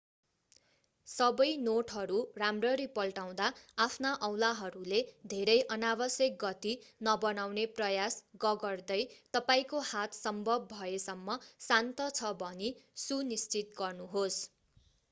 सबै नोटहरूराम्ररी पल्टाउँदा आफ्ना औँलाहरूले धेरै अनावश्यक गति नबनाउने प्रयास गगर्दै तपाईंको हात सम्भव भएसम्म शान्त छ भनि सु निश्चित गर्नुहोस्